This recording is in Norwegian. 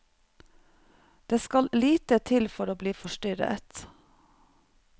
Det skal lite til for å bli forstyrret.